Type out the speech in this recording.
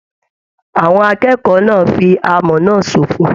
Àwọn akẹ́kọ̀ọ́ náà fí amọ̀ náà ṣofo.